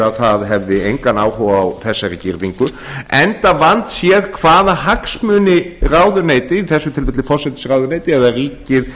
að það hefði engan áhuga á þessari girðingu enda vandséð hvaða hagsmuni ráðuneyti í þessu tilviki forsætisráðuneytið eða ríkið